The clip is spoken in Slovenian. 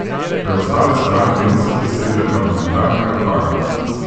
Preostale stranke niso presegle parlamentarnega praga.